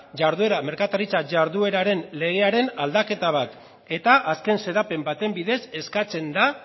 merkataritza jardueraren legearen aldaketa bat eta azken xedapen baten bidez eskatzen da